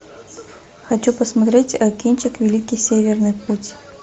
хочу посмотреть кинчик великий северный путь